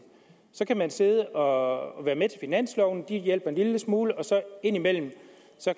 så kan man sidde og være med til finansloven de hjælper en lille smule og ind imellem